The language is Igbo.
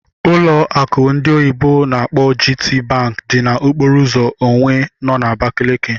Ụlọ akụ ndị oyibo n'akpọ GTBank dị na okpòro ụzọ Onwe nọ na Abakaliki